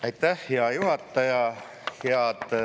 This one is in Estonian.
Aitäh, hea juhataja!